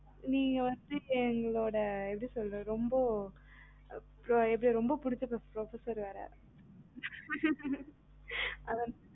நீங்க வந்து எங்களோட எப்படி சொல்றதுரொம்ப பிடிச்ச professor வேற அதான்